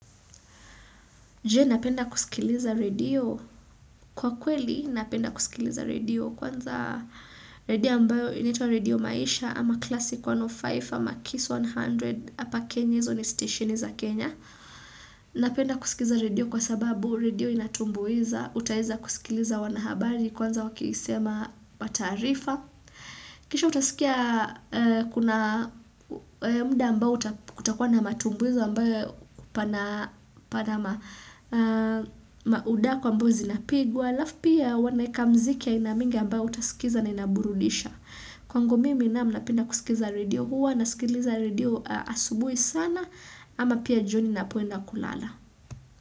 Je napenda kusikiliza radio? Kwa kweli napenda kusikiliza radio kwanza radio ambayo inatwa radio maisha ama klasi 105 ama KISS 100 hapa Kenya, hizo ni station za Kenya. Napenda kusikiliza radio kwa sababu radio inatumbuiza, utaweza kusikiliza wanahabari kwanza wakisema kwa taarifa. Kisha utasikia kuna muda ambao utakuwa na matumbuizo ambayo pana maudaku ambazo zinapigwa. Alafu pia wanaweka muziki aina mingi ambao utasikiza na inaburudisha. Kwangu mimi naam napenda kusikiliza radio, huwa nasikiliza radio asubuhi sana ama pia jioni ninapoenda kulala.